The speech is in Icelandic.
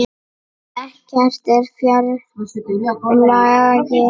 Ekkert er fjær lagi.